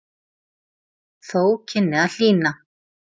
Þó kynni að hlýna.